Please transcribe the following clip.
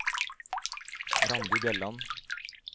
Randi Bjelland